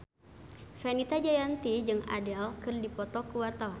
Fenita Jayanti jeung Adele keur dipoto ku wartawan